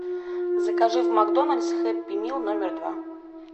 закажи в макдональдс хэппи мил номер два